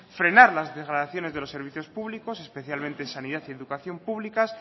frenar las degradaciones de los servicios públicos especialmente en sanidad y educación públicas